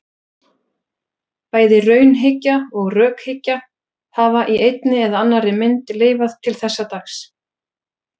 Bæði raunhyggja og rökhyggja hafa í einni eða annarri mynd lifað til þessa dags.